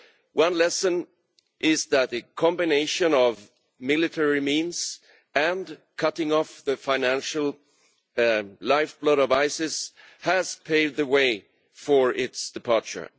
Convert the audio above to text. One lesson is that the combination of military means and cutting off the financial lifeblood of ISIS has paved the way for its departure.